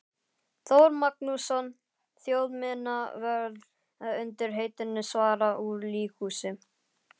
Þór Magnússon þjóðminjavörð undir heitinu Svarað úr líkhúsi.